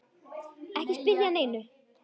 Ekki spyrja að neinu!